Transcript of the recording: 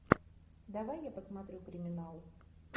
давай я посмотрю криминал